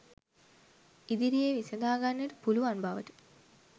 ඉදිරියේ විසඳාගන්නට පුළුවන් බවට